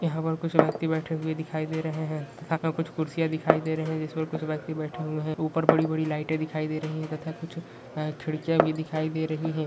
यहां पर कुछ व्यक्ति बैठे हुये दिखाई दे रहे तथा कुछ कुर्सियां दिखाई दे रहे हैं जिस पर कुछ व्यक्ति बैठे हुये हैं ऊपर बड़ी-बड़ी लाइटे दिखाई दे रही हैं तथा कुछ खिड़कियाँ भी दिखाई दे रही हैं।